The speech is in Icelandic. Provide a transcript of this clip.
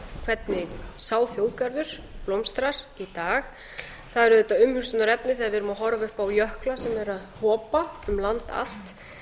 hvernig sá þjóðgarður blómstrar í dag það er auðvitað umhugsunarefni þegar við erum að horfa upp á jökla sem eru að hopa um land allt